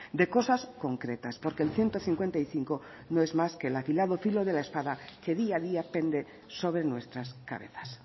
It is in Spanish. de cosas concretas porque el ciento cincuenta y cinco no es más que el afilado filo de la espada que día a día pende sobre nuestras cabezas